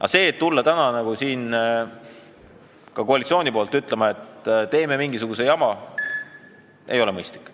Aga tulla täna ka koalitsiooni nimel ütlema, et teeme mingisugust jama, ei ole mõistlik.